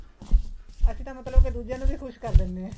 ਅਸੀਂ ਤਾਂ ਮਤਲਬ ਕੇ ਦੂਜਿਆ ਨੂੰ ਵੀ ਖ਼ੁਸ਼ ਕਰ ਦਿੰਨੇ ਹਾਂ